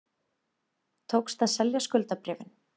Tókst að selja skuldabréfin